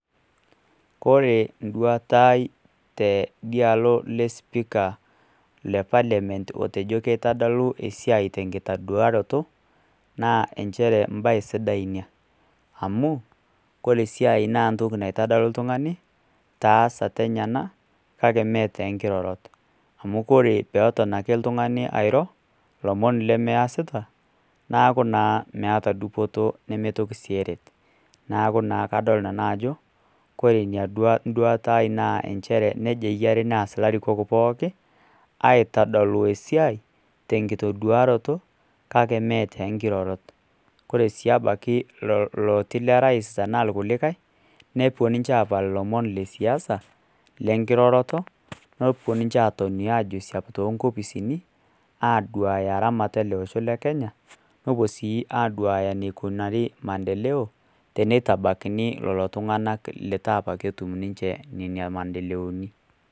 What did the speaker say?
Koree nduata aai tidialo le speaker le parliament otejo kitadolu esiai tenkitaduoroto na nchere mbaa inonok amu koree esiai na entoki naitodolu ltungani taasa tenyenak maatonkirorot amu ore peton ake oltungani airo lomon lemeasita neaku naa meeta dupoto nemeton si eret, neaku kadol naa ajo ore enduata aai na nejia eyia neasitai poookin aitadolu esiai tenkitoduaroto kake metonkirorot, koree si obaki loti lorais tanarkulikae nepuo nche apal lomon lesiasa lenkiroroto nepuo nche atoni aduaya eramatare olosho lekenya nepuo si adol enikunari maendeleo tenitabakini lolotunganak letaanche ketuminameendeleoni.